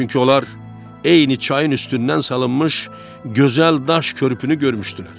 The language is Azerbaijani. Çünki onlar eyni çayın üstündən salınmış gözəl daş körpünü görmüşdülər.